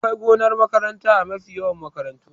Akwai gonar makaranta a mafi yawan makarantu